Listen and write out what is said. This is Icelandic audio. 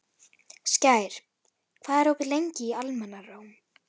Skær, hvað er opið lengi í Almannaróm?